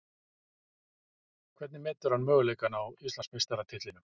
Hvernig metur hann möguleikana á Íslandsmeistaratitlinum?